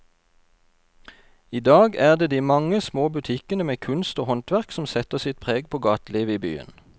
I dag er det de mange små butikkene med kunst og håndverk som setter sitt preg på gatelivet i byen.